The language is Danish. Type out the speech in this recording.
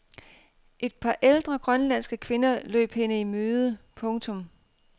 Et par ældre grønlandske kvinder løb hende i møde. punktum